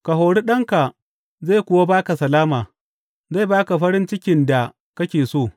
Ka hori ɗanka, zai kuwa ba ka salama; zai ba ka farin cikin da kake so.